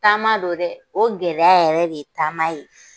Taama don dɛ o gɛlɛya yɛrɛ de ye taama ye